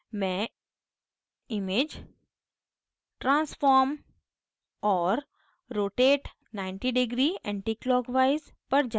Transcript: मैं image transform और rotate 90 degree anticlockwise पर जाती हूँ